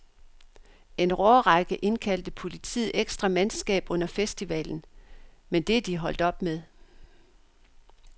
En årrække indkaldte politiet ekstra mandskab under festivalen, men det er de holdt op med.